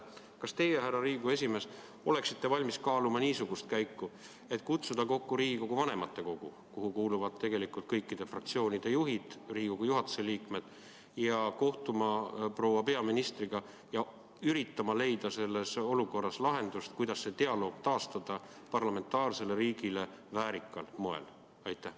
Kas teie, härra Riigikogu esimees, olete valmis kaaluma niisugust käiku, et kutsuda kokku Riigikogu vanematekogu, kuhu kuuluvad kõikide fraktsioonide juhid ja Riigikogu juhatuse liikmed, ja kohtuda proua peaministriga, et üritada leida selles olukorras lahendus, kuidas see dialoog taastada parlamentaarsele riigile väärikal moel?